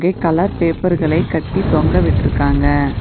ஐ colour பேப்பர்களை கட்டி தொங்க விட்ருக்காங்க.